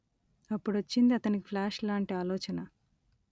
అప్పుడొచ్చింది అతనికి ప్లాష్ లాంటి ఆలోచన